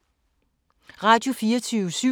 Radio24syv